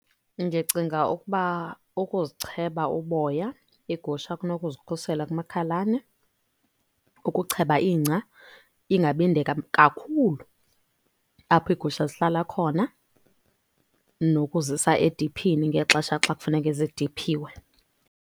Ndicinga ukuba ukuzicheba uboya iigusha kunokuzikhusela kumakhalane. Ukucheba ingca ingabi nde kakhulu apho iigusha zihlala khona. Nokuzisa ediphini ngexesha xa kufuneka zidiphiwe.